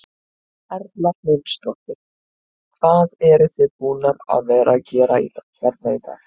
Erla Hlynsdóttir: Hvað eruð þið búnar að vera að gera hérna í dag?